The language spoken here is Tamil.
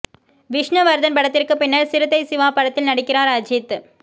விஷ்ணுவர்த்தன் படத்திற்கு பின்னர் சிறுத்தை சிவா படத்தில் நடிக்கிறார் அஜீத்